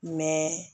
Mɛ